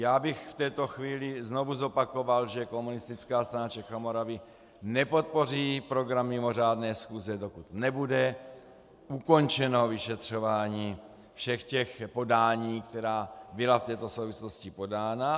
Já bych v této chvíli znovu zopakoval, že Komunistická strana Čech a Moravy nepodpoří program mimořádné schůze, dokud nebude ukončeno vyšetřování všech těch podání, která byla v této souvislosti podána.